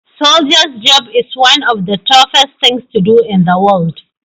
soldier’s job is one of the toughest things to do in the world